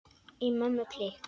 Í Mömmu klikk!